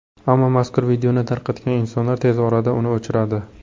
Ammo mazkur videoni tarqatgan insonlar tez orada uni o‘chiradi.